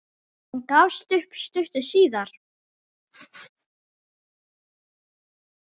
Hann gafst upp stuttu síðar.